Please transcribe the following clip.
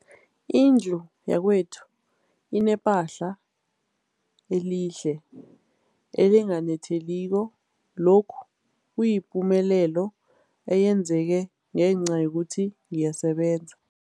Indlu yakwethu inephahla elihle, elinganetheliko, lokhu kuyipumelelo eyenzeke ngenca yokuthi ngiyasebenza.